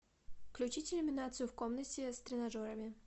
включить иллюминацию в комнате с тренажерами